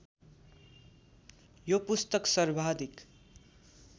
यो पुस्तक सर्वाधिक